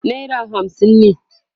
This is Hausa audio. naira hamsin ne